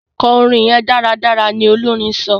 kò orin yén dáradára! ní Olorin sọ.